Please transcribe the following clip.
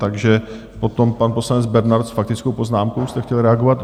Takže potom pan poslanec Bernard, s faktickou poznámkou jste chtěl reagovat?